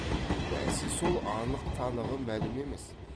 бәсе сол анық танығы мәлім емес